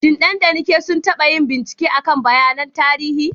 Shin Dan da Nneka sun taba yin bincike kan bayanan tarihi?